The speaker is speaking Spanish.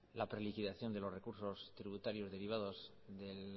la preliquidación de los recursos tributarios derivados de